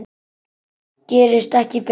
Gerist ekki betra.